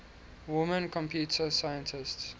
women computer scientists